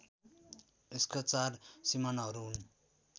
यसका चार सिमानाहरू हुन्